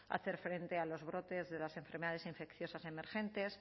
hacer frente a los brotes de las enfermedades infecciosas emergentes